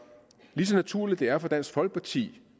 lige så naturligt det er for dansk folkeparti